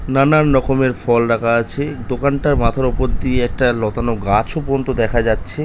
নানান রকমের ফল রাখা আছে। দোকানটার মাথার উপর দিয়ে একটা লতানো গাছও পর্যন্ত দেখা যাচ্ছে।